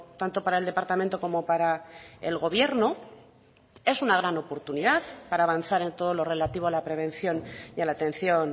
tanto para el departamento como para el gobierno es una gran oportunidad para avanzar en todo lo relativo a la prevención y a la atención